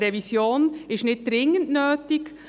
Eine Revision ist nicht dringend nötig.